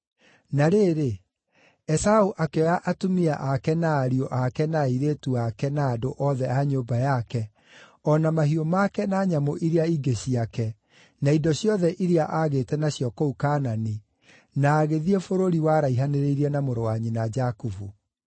Na rĩrĩ, Esaũ akĩoya atumia ake na ariũ ake na airĩtu ake na andũ othe a nyũmba yake, o na mahiũ make na nyamũ iria ingĩ ciake, na indo ciothe iria aagĩte nacio kũu Kaanani, na agĩthiĩ bũrũri waraihanĩrĩirie na mũrũ wa nyina Jakubu.